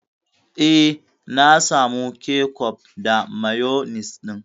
Eh, na samu kecof da mayonis ɗin.